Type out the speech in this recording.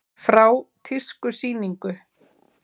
Frá tískusýningu.